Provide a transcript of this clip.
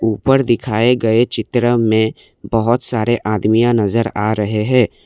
ऊपर दिखाए गए चित्र में बहोत सारे आदमिया नजर आ रहे है।